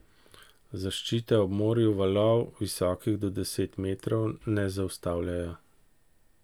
Zaščite ob morju valov, visokih do deset metrov, ne zaustavljajo.